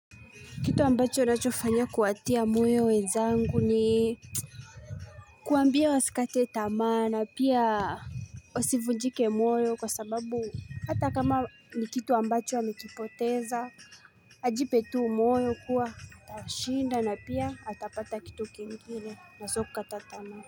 Kitu ambacho nachofanyia kuatia moyo wezangu ni kuambia wasikate tamaa na pia wasivunjike moyo kwa sababu hata kama ni kitu ambacho amekipoteza Ajipetu moyo kuwa atashinda na pia atapata kitu kingine na sokukatatamaa.